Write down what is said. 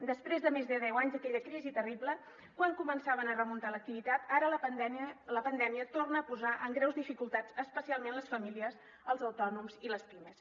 després de més de deu anys d’aquella crisi terrible quan començaven a remuntar l’activitat ara la pandèmia torna a posar en greus dificultats especialment les famílies els autònoms i les pimes